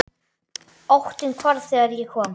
Óttinn hvarf þegar ég kom.